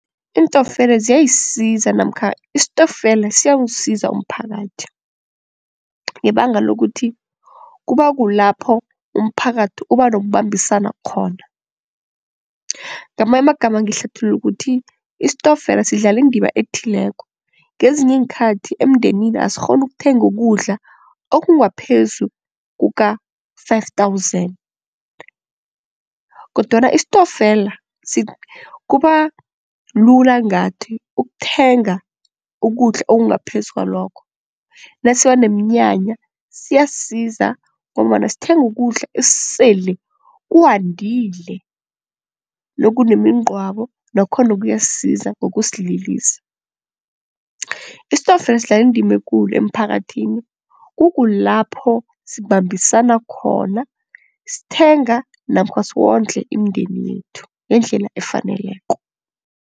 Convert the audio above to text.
Iintokfela ziyayisiza namkha istokfela siyawusiza umphakathi, ngebanga lokuthi kuba kulapho umphakathi uba nokubambisana khona. Ngamanyamagama ngihlathulula ukuthi istokfela sidlala indima ethileko ngezinye iinkhathi emndenini asikghoni ukuthenga ukudla okungaphezu kuka-five thousand kodwana istokfela kuba lula ngathi ukuthenga ukudla okungaphezu kwalokho, nasiba neemnyanya siyasiza ngombana sithenga ukudla esele kuwandile nokunemingcwabo nakhona kuyasiza ngokusililisa. Istokfela sidlala indima ekulu emphakathini kukulapho sibambisana khona sithenga namkha siwondle imindeni yethu ngendlela efaneleko.